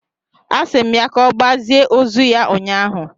a si m ya ka ogbazie ozu ya ụnyahụ